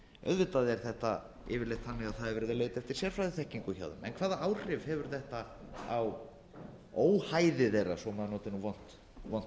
auðvitað er þetta yfirleitt þannig að það er verið að leita eftir sérfræðiþekkingu hjá þeim en hvaða áhrif hefur þetta á óhæði þeirra svo maður noti nú vont